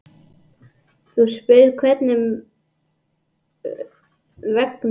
Þú spyrð hvernig mér vegni hér vestra.